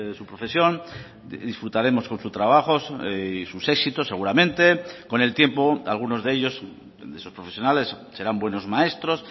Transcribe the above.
su profesión disfrutaremos con su trabajo y sus éxitos seguramente con el tiempo algunos de ellos de esos profesionales serán buenos maestros